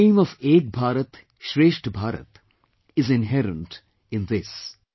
The dream of "Ek Bharat Shreshtha Bharat" is inherent in this